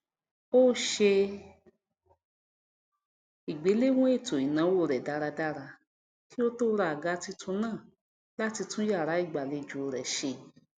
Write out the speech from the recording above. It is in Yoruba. ó ṣe ìgbéléwọn ètoìnáwó rẹ dáradára kí ó tó ra àga titun náà láti tún yàrá ìgbàlejò rẹ ṣe